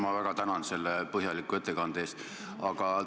Ma väga tänan selle põhjaliku ettekande eest!